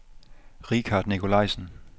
Richard Nikolajsen